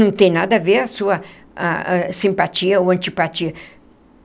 Não tem nada a ver a sua ah simpatia ou antipatia.